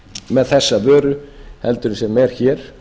með þessa vöru en er hér